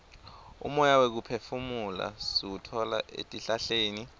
umoya wekuphefumula siwutfola etihlahleni